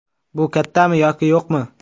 Bu kattami yoki yo‘qmi?